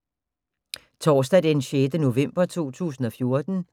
Torsdag d. 6. november 2014